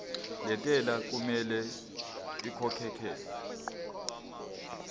lentela okumele ikhokhekhelwe